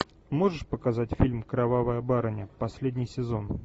можешь показать фильм кровавая барыня последний сезон